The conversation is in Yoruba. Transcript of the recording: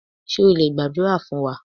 Ṣé o lè gbàdúrà fún wa?